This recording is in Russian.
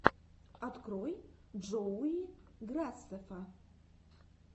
открой джоуи грасеффа